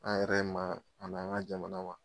An yɛrɛ ma a n'an ka jamana ma.